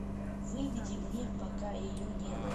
выведи мне пока ее не было